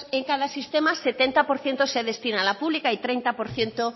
en cada sistema setenta por ciento se destina a la pública y treinta por ciento